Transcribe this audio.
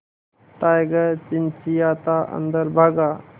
tiger चिंचिंयाता अंदर भागा